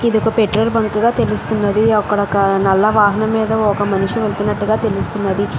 ఇది ఒక petrol bunk ల తెలుస్తున్నది. ఒక నల్ల వాహనం మేధా ఒక మనిషి వేల్లుతునాటుగ తెలుస్తున్నది.